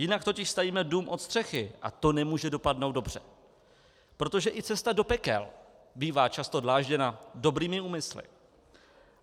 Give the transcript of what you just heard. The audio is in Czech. Jinak totiž stavíme dům od střechy a to nemůže dopadnout dobře, protože i cesta do pekel bývá často dlážděna dobrými úmysly.